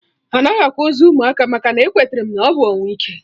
Anaghị akwa ozu ụmụaka maka na-ekweterem na ọ bụ ọnwụ ike